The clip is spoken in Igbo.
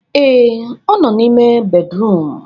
Ee, ọ nọ n'ime bédrụum.